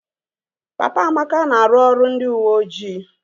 Papa Amaka na-arụ ọrụ ndị uweojii